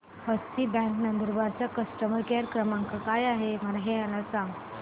हस्ती bank Nandurbar चा customer care क्रमांक काय आहे हे मला सांगा